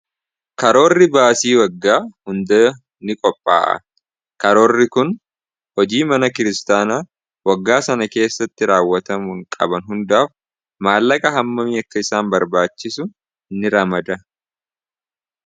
Karoorri baasii waggaa hundaa ni qophaa'a karoorri kun hojii mana kiristaanaa waggaa sana keessatti raawwatamuun qaban hundaaf maallaqa hammamii akka isaan barbaachisu ni ramada.